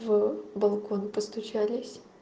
в балкон постучались